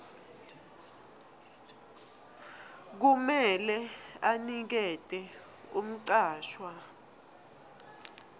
kumele anikete umcashwa